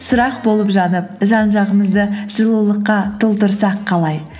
шырақ болып жанып жан жағымызды жылулыққа толтырсақ қалай